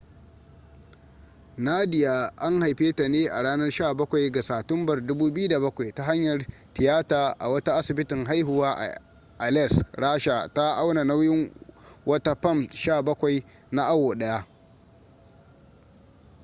nadia an haife ta ne a ranar 17 ga satumbar 2007 ta hanyar tiyata a wata asibitin haihuwa a aleisk rasha ta auna nauyin wata fam 17 na awo daya